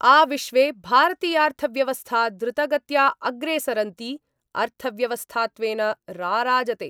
आविश्वे भारतीयार्थव्यवस्था द्रुतगत्या अग्रेसरन्ती अर्थव्यवस्थात्वेन राराजते।